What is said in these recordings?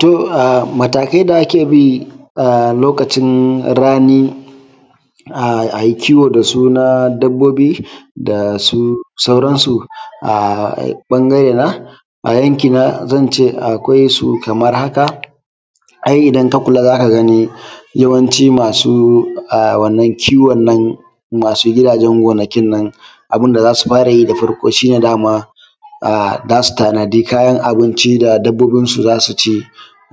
To mataakai da ake bi lokacin rani a yi kiwo da su na dabbobi da su sauransu a ɓangare na a yanki na zan ce akwai su kamar haka, ai idan ka kula za ka gani yawanci maasu wannan kiwon nan maasu gidaajen gonakin nan abun da za su fara yi da farko shi ne dama za su tanadi kayan abinci da dabbobinsu za su ci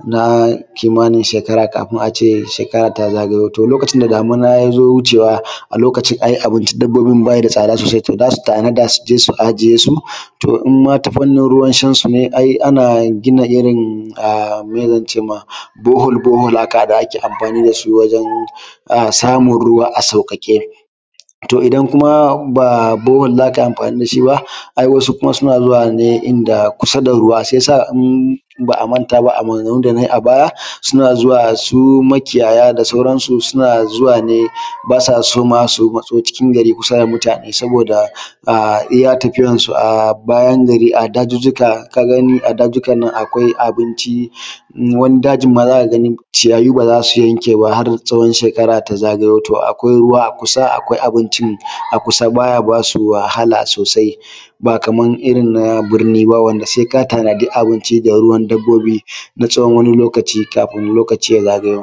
na kimaanin sheekara kafin a ce shekara taa zagayo, to lokacin da damina ya zo wucewa a lokacin ai abincin dabbobin ba shi da tsada soosai za su tanada su je su ajiyesu. To in ma ta fannin ruwanshansu ne ai ana gina irin ah me zance ma borehole borehole aka haɗa ake amfaani da su wajen samun ruwa a sauƙaƙe. to idan kuma ba da borehole za ka yi amfaani da shi ba ai wasu kuma suna zuwa ne inda kusa da ruwa shiyasa in ba’a mantaa ba a maganganun da na yi a baya suna zuwa su makiyaya da sauransu suna zuwa ne baa sa so maa su matso cikin gari kusa da mutaane sabooda iya tafiyansu a bayan gari a daajujjuka ka gani a daajujjukan nan akwai abinci wani daajin maa za ka gani ciyayi baa za su yanke ba har tsawon shekara ta zagayo, to akwai ruwa a kusa, akwai abinci a kusa baa ya baa su wahala soosai baa kaman irin na birni ba wanda sai ka tanadi abinci da ruwan dabbobi na tsawon wani lokaci kafin lokaci ya zagayo.